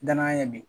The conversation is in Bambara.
Danaya ye bi